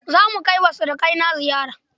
Za mu kai wa surukaina ziyara